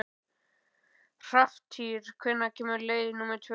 Hrafntýr, hvenær kemur leið númer tvö?